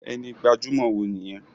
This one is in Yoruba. Ẹni gbajumọ wo nìyẹn?